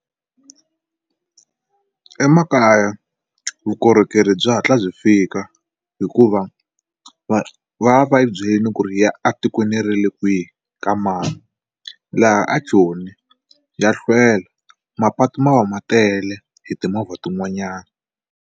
Emakaya vukorhokeri bya hatla byi fika hikuva va va va yi byelini ku ri ya atikweni ra le kwihi ka mani laha a joni ya hlwela mapatu ma va ma tele hi timovha tin'wanyana.